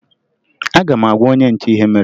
Aga m agwa onye nche ihe mere